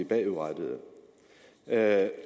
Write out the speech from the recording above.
bagudrettet at